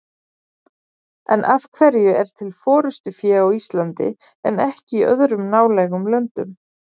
En af hverju er til forystufé á Íslandi en ekki í öðrum nálægum löndum?